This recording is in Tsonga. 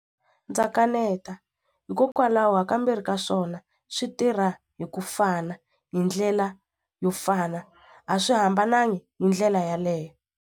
Ndza kaneta hikokwalaho ha kambirhi ka swona swi tirha hi ku fana hi ndlela yo fana a swi hambanangi hi ndlela yaleyo.